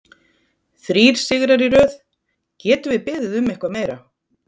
Þrír sigrar í röð, getum við beðið um eitthvað meira?